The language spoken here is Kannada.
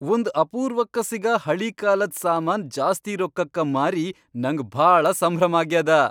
ಒಂದ್ ಅಪೂರ್ವಕ್ಕ ಸಿಗ ಹಳೀಕಾಲದ್ ಸಾಮಾನ್ ಜಾಸ್ತಿ ರೊಕ್ಕಕ್ಕ ಮಾರಿ ನಂಗ್ ಭಾಳ ಸಂಭ್ರಮ್ ಆಗ್ಯಾದ.